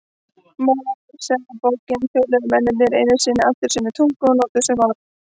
Mósebók töluðu mennirnir einu sinni allir sömu tungu og notuðu sömu orð.